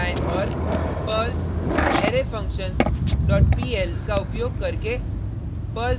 फिर टर्मिलन पर जाएँ और perl arrayfunctions dot pl